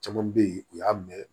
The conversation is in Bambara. Caman bɛ yen u y'a mɛn